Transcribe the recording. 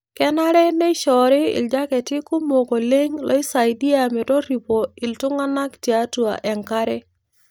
Kenare nei neishoori iljaketi kumok oleng' looisaidia metorripo iltung'anak tiatua enkare